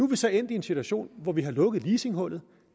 vi så endt i en situation hvor vi har lukket leasinghullet